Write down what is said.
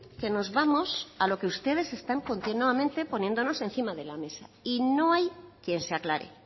que nos vamos a lo que ustedes están continuamente poniéndonos encima de la mesa y no hay quien se aclare